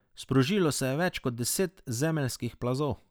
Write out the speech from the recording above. Sprožilo se je več kot deset zemeljskih plazov.